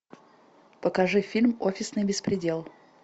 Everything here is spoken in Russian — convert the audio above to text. покажи фильм офисный беспредел